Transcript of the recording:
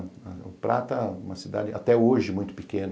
O Prata é uma cidade, até hoje, muito pequena.